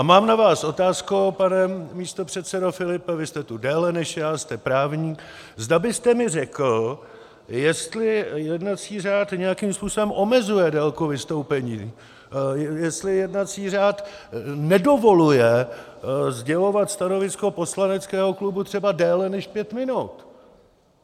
A mám na vás otázku, pane místopředsedo Filipe, vy jste tu déle než já, jste právník, zda byste mi řekl, jestli jednací řád nějakým způsobem omezuje délku vystoupení, jestli jednací řád nedovoluje sdělovat stanovisko poslaneckého klubu třeba déle než pět minut.